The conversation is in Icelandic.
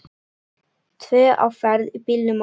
Tvö á ferð í bílnum okkar.